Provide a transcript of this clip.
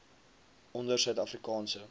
onder suid afrikaanse